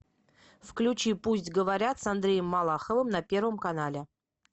включи пусть говорят с андреем малаховым на первом канале